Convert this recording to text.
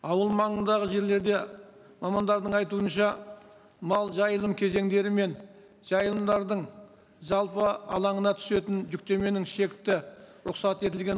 ауыл маңындағы жерлерде мамандардың айтуынша мал жайылым кезеңдері мен жайылымдардың жалпы алаңына түсетін жүктеменің шекті рұқсат етілген